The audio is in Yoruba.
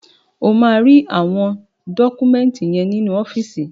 Ó máa rí àwọn dọ́kúmẹ́ńtì yẹn nínú ọ́fíìsì.